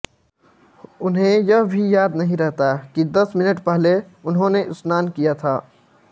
उन्हे यह भी याद नहीं रहता कि दस मिनट पहले उन्होने स्नान किया था